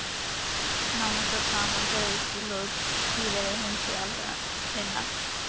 Nánast það sama gerðist við lok síðari heimsstyrjaldarinnar.